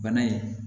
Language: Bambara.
Bana in